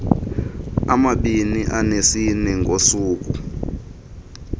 amabini anesine ngosuku